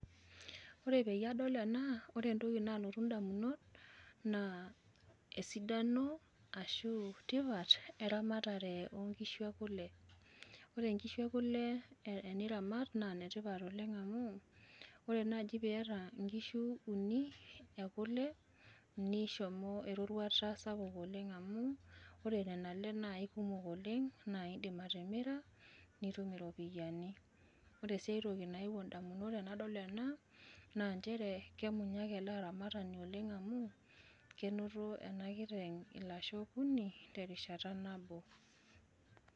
Ore peyie adol ena ore entoki naalotu in`damunot naa esidano ashu tipat eramatare oo nkishu e kule. Ore nkishu e kule te niramat naa nne tipat oleng amu ore naaji pee iyata nkishu uni e kule nishomo eroruata sapuk oleng amu ore nena ale naa kumok oleng naa idim atimira naa nitum irropiyiani. Ore sii aitoki nayewuo in`damunot tenadol ena naa nchere kemunyak ele aramatani oleng amu kenoto ena kiteng ilasho okuni terishata nabo.